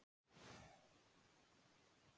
Ingimar: Er komið svar?